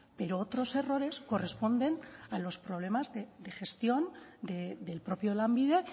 pero otros errores corresponden a los problemas de gestión del propio lanbide